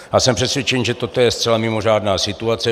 Já jsem přesvědčen, že toto je zcela mimořádná situace.